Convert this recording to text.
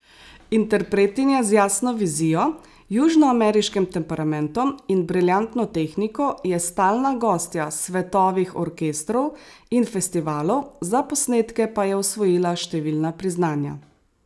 Interpretinja z jasno vizijo, južnoameriškim temperamentom in briljantno tehniko je stalna gostja svetovih orkestrov in festivalov, za posnetke pa je osvojila številna priznanja.